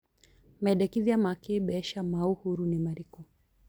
mendekithia ma kibeca ma uhuru ni marĩkũ